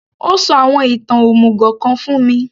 Ó sọ àwọn ìtàn òmùgò kan fún mi